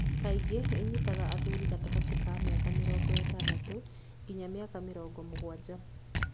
Kaingĩ ĩnyitaga athuri gatagati ka mĩaka mĩrongo ĩtandatũ nginya mĩaka mĩrongo mũgwanja.